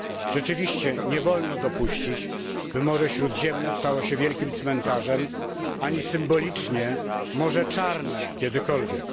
Rzeczywiście, nie wolno dopuścić, by Morze Śródziemne stało się wielkim cmentarzem, ani symbolicznie Morze Czarne, kiedykolwiek.